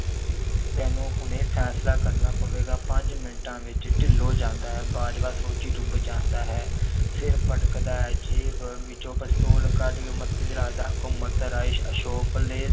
ਤੈਨੂੰ ਹੁਣੇ ਫੈਸਲਾ ਕਰਨਾ ਪਵੇਗਾ ਪੰਜ ਮਿੰਟਾਂ ਵਿੱਚ ਢਿੱਲੋਂ ਜਾਂਦਾ ਹੈ, ਬਾਜਵਾ ਸੋਚੀ ਡੁੱਬ ਜਾਂਦਾ ਹੈ ਸਿਰ ਪਟਕਦਾ ਹੈ ਜੇਬ ਵਿੱਚੋਂ ਪਸਤੌਲ ਕੱਢ ਕੇ ਮੱਥੇ ਤੇ ਰੱਖਦਾ, ਘੁੰਮਤ ਰਾਏ ਭੱਲੇ